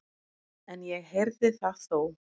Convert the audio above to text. En ég heyrði það þó.